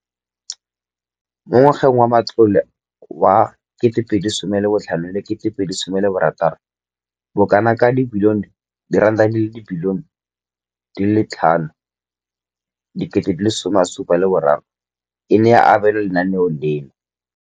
Mo ngwageng wa matlole wa 2015,16, bokanaka R5 703 bilione e ne ya abelwa lenaane leno.